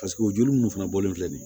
o joli munnu fana bɔlen filɛ nin ye